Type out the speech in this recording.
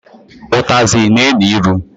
Ụtazị na-enu ilu.